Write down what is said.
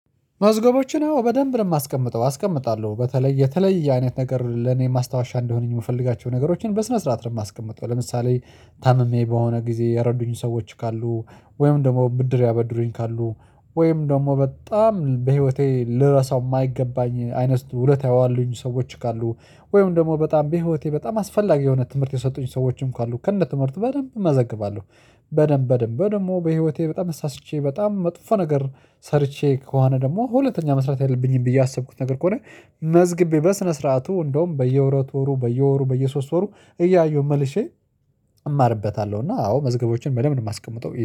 መዝገቦችን አዎ በደንብ ነው የማስቀምጠው አስቀምጣለሁ በተለይ የተለየ አይነት ነገር ለኔ ማስታወሻ እንደሆነኝ የምፈልጋቸውን ነገሮችን በስነ ስርዓት ነው የማስቀምጠው። ለምሳሌ ታምሜ በሆነ ጊዜ የረዱኝ ሰዎች ካሉ ወይም ደግሞ ብድር ያበድሩኝ ካሉ ወይም ደግሞ በጣም በህይወቴ ልረሳው የማይገባኝ አይነት ስቱ ውለታ የዋሉኝ ሰዎች ካሉ ወይም ደግሞ በጣም በህይወቴ በጣም አስፈላጊ የሆነ ትምህርት የሰጡኝ ሰዎችም ካሉ ከነ ትምህርቱ በደንብ እመዘግባለሁ። በደንብ በደንብ ደግሞ በህይወቴ በጣም ሳስቼ በጣም መጥፎ ነገር ሰርቼ ከሆነ ደግሞ ሁለተኛ መስራት ያለብኝም ብዬ ያሰብኩት ነገር ከሆነ መዝግቤ በስነ ስርዓቱ እንደውም በሁለትወሩ በየወሩ በየሶስት ወሩ እያየሁ መልሼ እማርበታለሁ። እና አዎ መዝገቦችን በለም ነው የማስቀምጠው